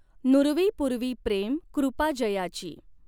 नुरवी पुरवी प्रेम कॄपा जयाची।